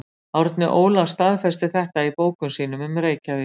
Árni Óla staðfestir þetta í bókum sínum um Reykjavík.